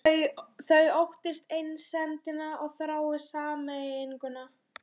Þau óttist einsemdina og þrái sameininguna.